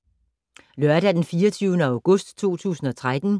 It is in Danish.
Lørdag d. 24. august 2013